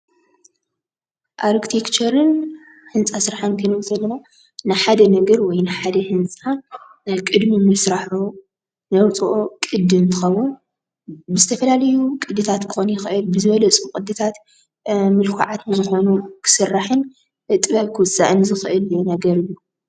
ኣርቴክቸርን ህንፃ ስራሕን ክንብል እንተለና ንሓደ ነገር ወይ ንሓደ ህንፃ ቅድሚ ምስራሑ ነውፀኦ ቅዲ እንትኸውን ብዝተፈላለዩ ቅድታት ክኾን ይኽእል ብዝበለፁ ቅድታት ምልኩዓት ብዝኾኑ ክስራሕን ብጥበብ ክወፅእን ዝኽእል ነገር እዩ።